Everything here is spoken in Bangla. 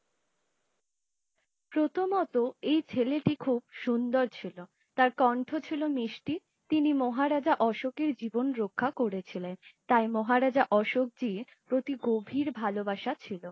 প্রথমত এই ছেলেটি খুব সুন্দর ছিলো তার কণ্ঠ ছিলো মিষ্টি । তিনি মহারাজা অশোকের জীবন রক্ষা করে ছিলেন । তাই মহারাজ অশোক জি প্রতি গভীর ভালোবাসা ছিলো ।